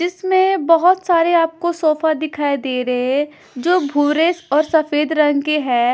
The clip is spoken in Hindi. इसमें बहोत सारे आपको सोफा दिखाई दे रहे है जो भूरे और सफेद रंग के है।